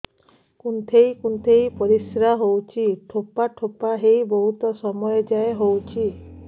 କୁନ୍ଥେଇ କୁନ୍ଥେଇ ପରିଶ୍ରା ହଉଛି ଠୋପା ଠୋପା ହେଇ ବହୁତ ସମୟ ଯାଏ ହଉଛି